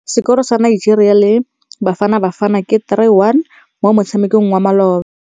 Sekôrô sa Nigeria le Bafanabafana ke 3-1 mo motshamekong wa malôba.